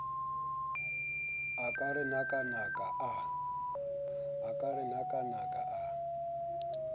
a ka re nakanaka a